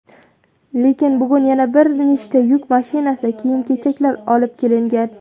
Lekin bugun yana bir nechta yuk mashinasida kiyim-kechaklar olib kelingan.